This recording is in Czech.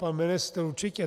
Pan ministr určitě.